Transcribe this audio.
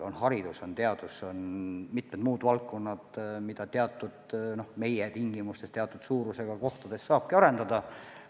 On haridus, on teadus, on mitmed muud valdkonnad, mida meie tingimustes teatud suurusega kohtades saab arendada.